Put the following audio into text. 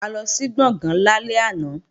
A lọ sí Gbọ̀ngán lálẹ́ àná